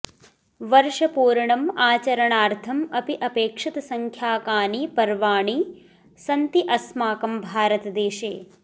वर्षपूर्णम् आचरणार्थम् अपि अपेक्षितसंख्याकाणि पर्वाणि सन्ति अस्माकं भारतदेशे